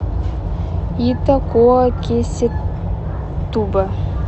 итакуакесетуба